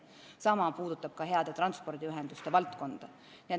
Sama kehtib heade transpordiühenduste kohta.